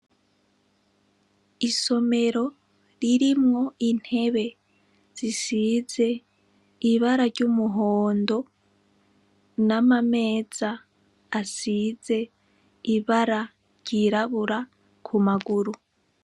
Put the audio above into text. Isomero ririmwo intebe zisize ibara ry'umuhondo n'amameza asize ibara ryirabura ku maguru.